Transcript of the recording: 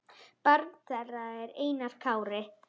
Barn þeirra er Einar Kári.